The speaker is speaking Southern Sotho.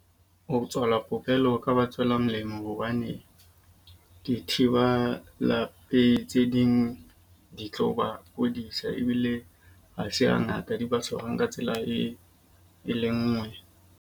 Ho tswalwa popelo ho ka ba tswela molemo. Hobane dithiba pelehi tse ding di tlo ba kodisa ebile ha se ha ngata di ba tshwarwang ka tsela e e le nngwe.